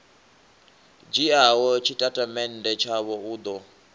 dzhiaho tshitatamennde tshavho u ḓo